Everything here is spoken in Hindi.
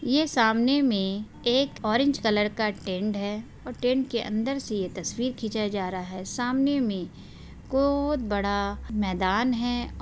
ये सामने में एक ओरेंज कलर का टेंट है और टेंट के अंदर से ये तस्वीर खीचा जा रहा है| सामने में बहुत बड़ा मैदान है|